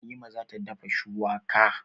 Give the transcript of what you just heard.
Halima za ta dafa shuwaka.